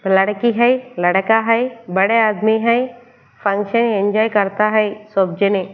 लड़की है लड़का है बड़े आदमी है पंखे करता है सब जने --